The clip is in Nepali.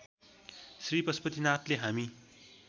श्री पशुपतिनाथले हामी